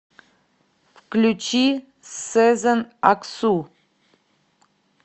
включи сезен аксу